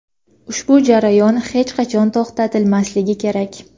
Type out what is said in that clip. Ushbu jarayon hech qachon to‘xtatilmasligi kerak.